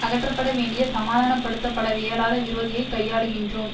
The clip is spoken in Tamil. அகற்றப்பட வேண்டிய சமாதானப்படுத்தப்படவியலாத விரோதியைக் கையாளுகின்றோம்